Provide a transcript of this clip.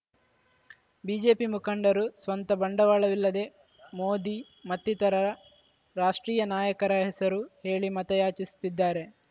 BJP ಮುಖಂಡರು ಸ್ವಂತ ಬಂಡವಾಳವಿಲ್ಲದೆ ಮೋದಿ ಮತ್ತಿತರ ರಾಷ್ಟ್ರೀಯ ನಾಯಕರ ಹೆಸರು ಹೇಳಿ ಮತಯಾಚಿಸುತ್ತಿದ್ದಾರೆ